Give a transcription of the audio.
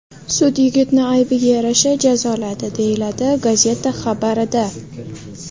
Sud yigitni aybiga yarasha jazoladi”, – deyiladi gazeta xabarida.